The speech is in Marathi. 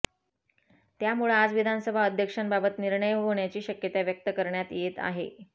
त्यामुळं आज विधानसभा अध्यक्षांबाबत निर्णय होण्याची शक्यता व्यक्त करण्यात येत आहे